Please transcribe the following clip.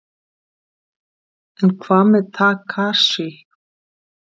En hvað með Takashi?